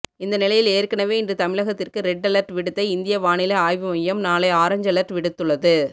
இந்த நிலையில் ஏற்கனவே இன்று தமிழகத்திற்கு ரெட்அலர்ட் விடுத்த இந்திய வானிலை ஆய்வு மையம் நாளை ஆரஞ்சு அலர்ட் விடுத்துள்ளது